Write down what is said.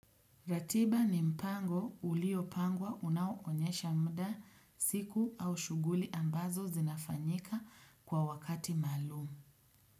Ratiba ni mpango ulio pangwa unauonyesha muda siku au shughuli ambazo zinafanyika kwa wakati maalum.